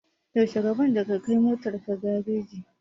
Yaushe rabon da ka kai motar ka gareji?